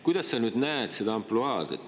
Kuidas sa näed seda ampluaad?